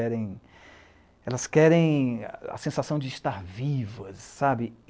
Elas querem a sensação de estar vivas, sabe?